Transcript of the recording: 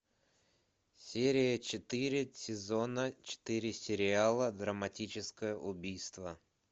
серия четыре сезона четыре сериала драматическое убийство